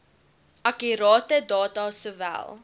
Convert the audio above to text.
akkurate data sowel